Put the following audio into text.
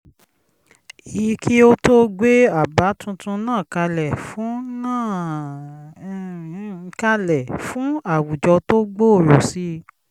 i kí ó tó gbé àbá tuntun náà kalẹ̀ fún náà um um kalẹ̀ fún àwùjọ tó gbòòrò sí i